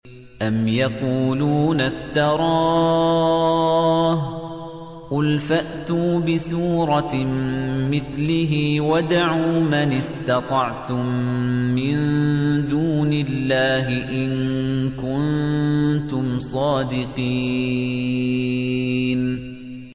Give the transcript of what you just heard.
أَمْ يَقُولُونَ افْتَرَاهُ ۖ قُلْ فَأْتُوا بِسُورَةٍ مِّثْلِهِ وَادْعُوا مَنِ اسْتَطَعْتُم مِّن دُونِ اللَّهِ إِن كُنتُمْ صَادِقِينَ